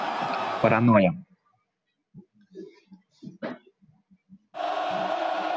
паранойя